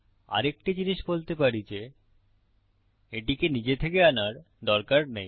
আরেকটা জিনিস বলতে পারি যে এটিকে নিজে থেকে আনার দরকার নেই